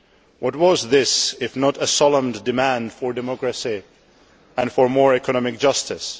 What was this if not a solemn demand for democracy and for more economic justice?